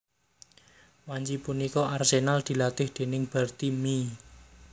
Wanci punika Arsenal dilatih déning Bertie Mee